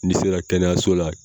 N'i sera kɛnɛyaso la